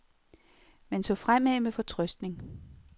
Man så fremad med fortrøstning.